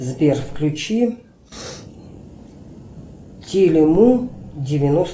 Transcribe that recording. сбер включи телему девяносто